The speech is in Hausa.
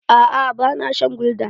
Aa ba na shan gulda.